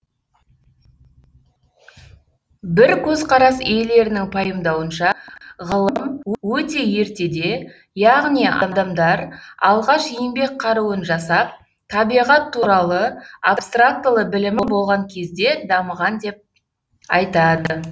бір көзқарас иелерінің пайымдауынша ғылым өте ертеде яғни адамдар алғаш еңбек қаруын жасап табиғат туралы абстрактылы білімі болған кезде дамыған деп айтады